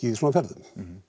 í svona ferðum